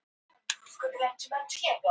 Steinbjörg, hvað er klukkan?